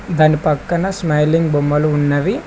దాని పక్కన స్మైలింగ్ బొమ్మలు ఉన్నవి.